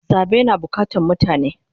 Zabe na bukatan mutane